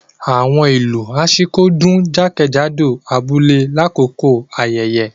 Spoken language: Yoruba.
Awọn ilu Ashiko dun jakejado abule lakoko ayẹyẹ.